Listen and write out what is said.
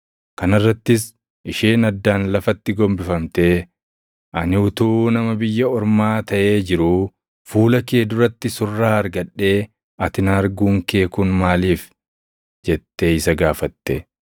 Kana irrattis isheen addaan lafatti gombifamtee, “Ani utuu nama biyya ormaa taʼee jiruu fuula kee duratti surraa argadhee ati na arguun kee kun maaliifi?” jettee isa gaafatte.